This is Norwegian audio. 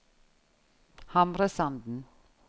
Hamresanden